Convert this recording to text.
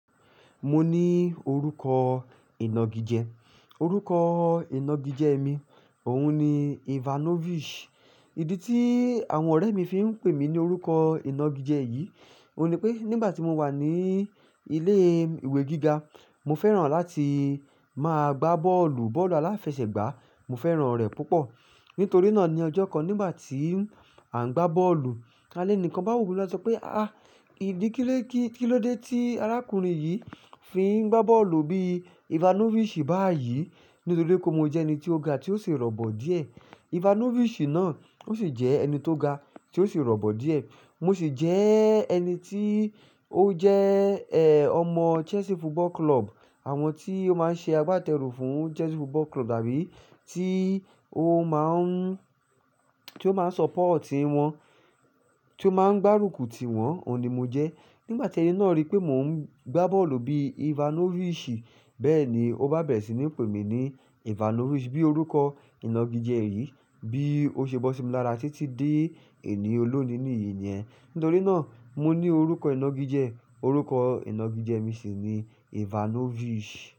Mo ní orúkọ ìnagijẹ, orúkọ ìnagijẹ mi, òun ni Ivanovic. Ìdí tí àwọn ọ̀rẹ́ mi fi ń pè mí ní orúkọ ìnagijẹ yìí, òun ni pé nígbà tí mo wà ní ilé ìwé gíga, mo fẹ́ràn láti máa gbá bọ́ọ̀lù, bọ́ọ̀lù aláfẹsẹ̀gbá, mo fẹ́ràn rẹ̀ púpọ̀. Nítorí náà ní ọjọ́ kan nígbà tí à ń gbá bọ́ọ̀lù, a lẹ́ni kan bá wo lo ṣọ̀ pé ahah ìdí kílé kílódé tí arákùnrin yìí fi ń gbá bọ́ọ̀lù bí Ivanovic báyìí?" Nítorí pé mo jẹ́ ẹni tí ó ga tí ó sì rọ̀bọ̀ díẹ̀. Ivanovic náà ó sì jẹ́ ẹni tó ga tí ó sì rọ̀bọ̀ díẹ̀. Mo sì jẹ́ ẹni tí ó jẹ́, ẹ́, ọmọ Chelsea Football Club, àwọn tí ó máa ń ṣe agbátẹrù fún Chelsea Football Club àbí tí ó máa ń, tí ó máa ń support ti wọn, tí ó máa ń gbárùkù ti wọn, òun ni mo jẹ́. Nígbà tí ẹni náà rí pé mò ń gbá bọ́ọ̀lù bí Ivanovic bẹ́ẹ̀ ni ó bá bẹ̀rẹ̀ sí ní pè mí ní Ivanovic bíi orúkọ ìnagijẹ yìí. Bí ó ṣe bọ́ sí mi lára títí dé ení olónìí nìyí niyen. Nítorí náà mo ní orúkọ ìnagijẹ, orúkọ ìnagijẹ mi sì ni Ivanovic.